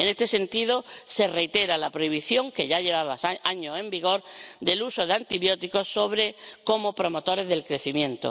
En este sentido, se reitera la prohibición, que ya llevaba años en vigor, del uso de antibióticos como promotores del crecimiento.